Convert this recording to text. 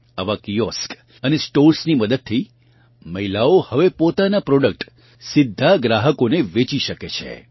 આવાં કિઓસ્ક અને સ્ટોર્સની મદદથી મહિલાઓ હવે પોતાનાં પ્રોડક્ટ સીધાં ગ્રાહકો વેચી શકે છે